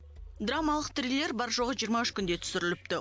драмалық триллер бар жоғы жиырма үш күнде түсіріліпті